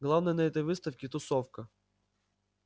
главное на этой выставке тусовка